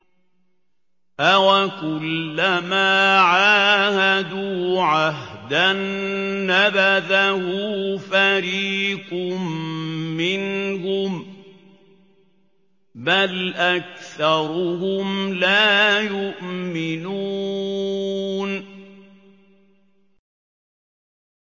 أَوَكُلَّمَا عَاهَدُوا عَهْدًا نَّبَذَهُ فَرِيقٌ مِّنْهُم ۚ بَلْ أَكْثَرُهُمْ لَا يُؤْمِنُونَ